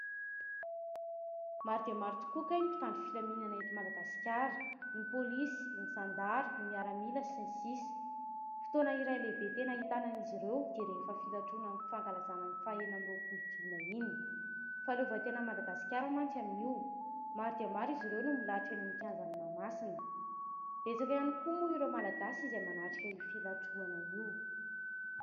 Maro dia maro tokoa kay ny mpitandro filaminana eto Madagasikara : ny pôlisy, ny zandary, ny miaramila sy ny sisa. Fotoana iray lehibe tena ahitana an'izy ireo dia rehefa filatroana amin'ny fankalazana ny faha enina amby roapolo jona iny. Fahaleovantenan'i Madagasikara mantsy amin'io. Maro dia maro izy ireo no milahatra eny amin'ny kianjan'i Mahamasina. Betsaka ihany koa moa ny Malagasy izay manatrika an'io filatroana io.